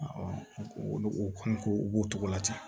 olu kɔni ko u b'o cogo la ten